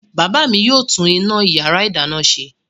Bàbá mi yóò tún iná ìyàrá-ìdáná ṣe.